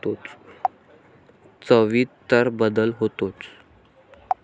चवीत तर बदल होतोच.